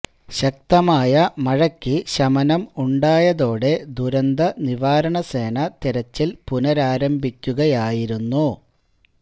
ശക്തമായ മഴയ്ക്ക് ശമനം ഉണ്ടായതോടെ ദുരന്ത നിവാരണ സേന തെരച്ചില് പുനരാരംഭിക്കുകയായിരുന്നു